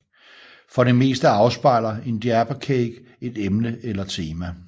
For det meste afspejler en Diaper Cake et emne eller tema